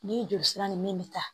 Ni joli sira ni min bɛ ta